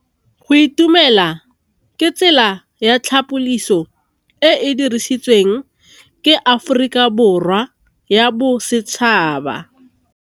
Go itumela ke tsela ya tlhapolisô e e dirisitsweng ke Aforika Borwa ya Bosetšhaba.